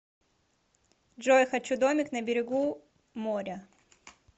джой хочу домик на берегу моря